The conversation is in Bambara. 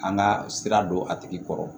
An ka sira don a tigi kɔrɔ